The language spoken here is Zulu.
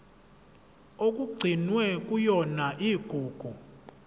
okugcinwe kuyona igugu